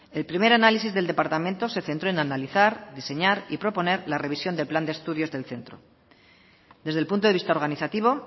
el primer análisis del departamento se centró en analizar diseñar y proponer la revisión del plan de estudios del centro desde el punto de vista organizativo